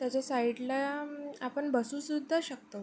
त्याच्या साइड ला अं आपण बसू सुद्धा शकतो.